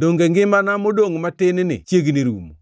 Donge ngimana modongʼ matin-ni chiegni rumo?